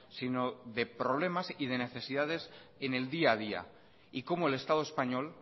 sino de problemas y de necesidades en el día a día y cómo el estado español